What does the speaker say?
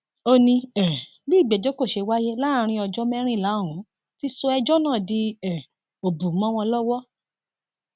ó ní um bí ìgbẹjọ kò ṣe wáyé láàrin ọjọ mẹrìnlá ọhún ti sọ ẹjọ náà di um òbù mọ wọn lọwọ